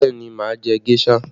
Bẹẹ ni, máa jẹ géṣà